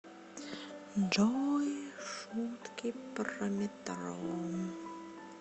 джой шутки про метро